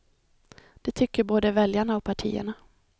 Det tycker både väljarna och partierna.